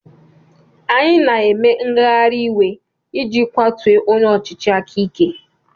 Anyị na-eme ngagharị iwe iji kwatuo onye ọchịchị aka ike.